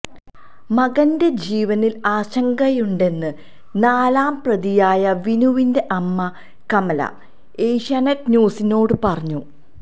മകന്റെ ജീവനിൽ ആശങ്കയുണ്ടെന്ന് നാലാം പ്രതിയായ വിനുവിന്റെ അമമ കമല ഏഷ്യാനെറ്റ് ന്യൂസിനോട് പറഞ്ഞു